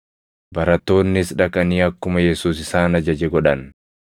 Barattoonnis dhaqanii akkuma Yesuus isaan ajaje godhan.